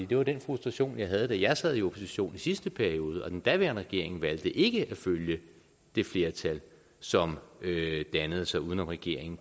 det var den frustration jeg havde da jeg sad i opposition i sidste periode og den daværende regering valgte ikke at følge det flertal som dannede sig uden om regeringen